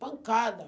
Pancada.